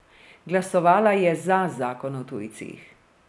Glasovala je za zakon o tujcih.